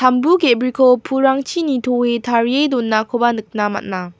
ge·briko pulrangchi nitoe tarie donakoba nikna man·a.